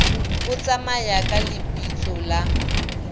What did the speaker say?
o tsamaye ka lebitso la